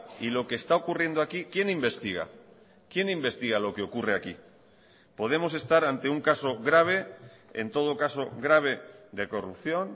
y lo que está ocurriendo aquí quién investiga quién investiga lo que ocurre aquí podemos estar ante un caso grave en todo caso grave de corrupción